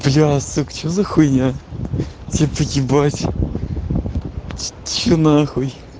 бля сука что за хуйня типо ебать что нахуй